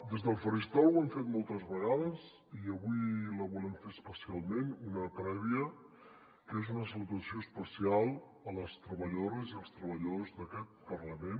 des del faristol ho hem fet moltes vegades i avui volem fer especialment una prèvia que és una salutació especial a les treballadores i els treballadors d’aquest parlament